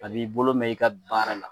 A b'i bolo mɛɛn i ka baara la